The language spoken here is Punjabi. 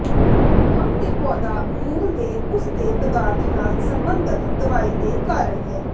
ਕੰਮ ਦੇ ਪੌਦਾ ਮੂਲ ਦੇ ਉਸ ਦੇ ਪਦਾਰਥ ਨਾਲ ਸਬੰਧਤ ਦਵਾਈ ਦੇ ਕਾਰਨ ਹੈ